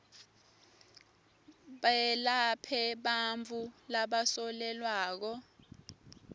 belaphe bantfu labasolelwako